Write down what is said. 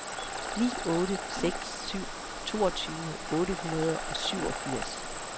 ni otte seks syv toogtyve otte hundrede og syvogfirs